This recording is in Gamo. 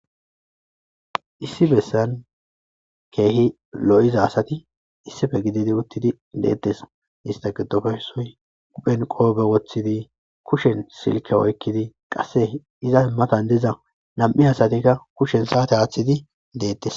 Issi bessan keehi lo7iza asati issife gididi uttidi deettes ista giddofeysoy uphen qoobe woththidi kushen silke oykkidi qasse iza himmatan diza nam7i asatikka kushen saate haaththidi deettes